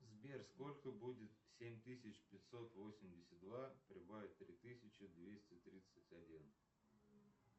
сбер сколько будет семь тысяч пятьсот восемьдесят два прибавить три тысячи двести тридцать один